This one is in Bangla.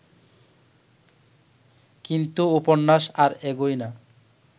কিন্তু উপন্যাস আর এগোয় না